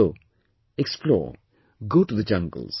Go, explore, go to the jungles